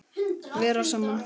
Vera saman.